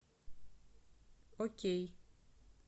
окей